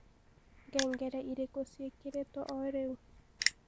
ngengere irikũ cĩĩkĩrĩtwo o riu